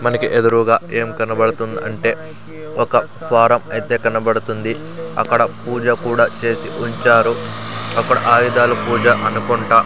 మనకి ఎదురూగా ఏం కనబడుతుంద్ అంటే ఒక స్వారం అయితే కనబడుతుంది అక్కడ పూజ కూడా చేసి ఉంచారు అక్కడ ఆయుధాలు పూజ అనుకుంటా.